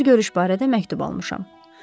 Bir görüş barədə məktub almışam.